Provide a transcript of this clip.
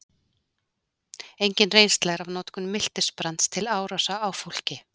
Engin reynsla er af notkun miltisbrands til árása á fólk.